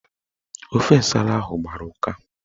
Ofe nsala ahụ gbara ụka